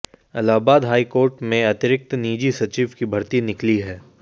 Allahabad high court में अतिरिक्त निजी सचिव की भर्ती निकली है